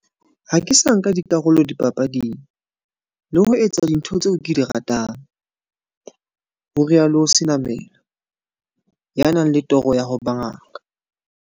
Ha ke sa nka karolo dipapading, le ho etsa dintho tseo ke di ratang, ho rialo Senamela, ya nang le toro ya ho ba ngaka.